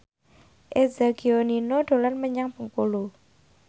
Eza Gionino dolan menyang Bengkulu